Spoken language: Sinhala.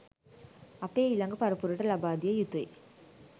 අපේ ඊළඟ පරපුරට ලබාදිය යුතුයි.